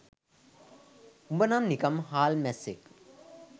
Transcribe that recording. උඹනම් නිකන් හාල් මැස්සෙක්